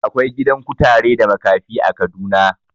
Akwai gidan kutare da makafi a Kaduna.